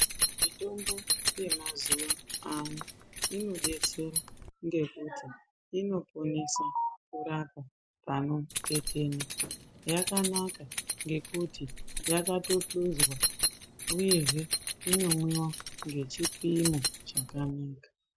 Mitombo yemazuva ano inodetsera nokuti inodetsera kurapa panotetena, yakanaka ngekuti yakatopunzwa uyezve inomwiwa ngechipimo chakanaka.